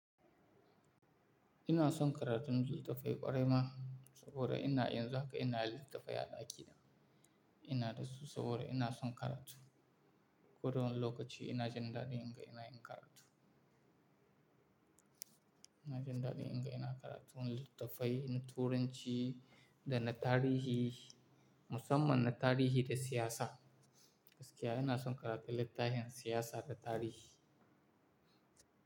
Ina son karatun litattafai ƙwarai ma, saboda ina yanzun haka ina da litattafai a ɗaki na ina da su saboda ina son karatu. Koda wane lokaci ina jin daɗin in ga ina yin karatu. Ina jin daɗi inga ina karatu litattafai na turanci da na tarihi, musamman na tarihi da siyasa. Gaskiya ina son karatu littahin siyasa da tarihi.